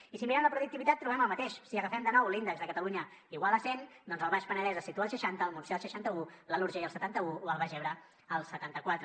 i si mirem la productivitat trobem el mateix si agafem de nou l’índex de catalunya igual a cent doncs el baix penedès es situa al seixanta el montsià al seixanta un l’alt urgell al setanta un o el baix ebre al setanta quatre